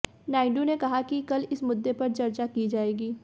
नायडू ने कहा कि कल इस मुद्दे पर चर्चा की जाएगी